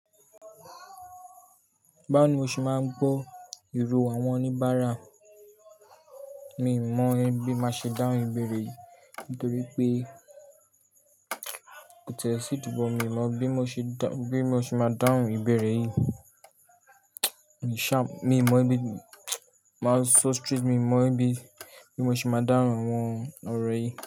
Báwo ni mo ṣe máa ń gbọ́ ìró àwọn oníbàárà? Mi ò mọ ibi máa ṣe dáhùn ìbéèrè yìí nítorí pé kó tẹ̀ sí ìdíbò mi. Mọ o bi mo ṣe, bí mo ṣe máa dáhùn ìbéèrè yìí. Mi ò mọ ibi, máa so street, mi ò mọ ibi, bí mo ṣe máa dáhùn àwọn ọ̀rọ̀ yìí.